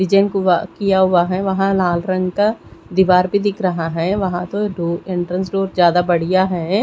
Pigeon कुआ किया हुआ है वहा लाल रंग का दीवार भी दिख रहा है वहा तो दो इंट्रेंस डोर ज्यादा बड़िया है।